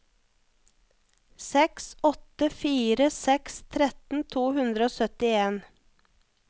seks åtte fire seks tretten to hundre og syttien